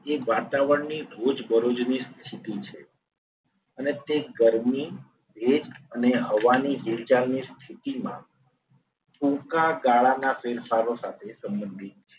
એ વાતાવરણની રોજબરોજની સ્થિતિ છે. અને તે ગરમી તેજ અને હવાની ઊર્જાની સ્થિતિમાં ટૂંકા ગાળાના ફેરફારો સાથે સંબંધિત છે.